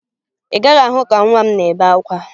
Ị gaghị ahụ ka nwa m na-ebe akwa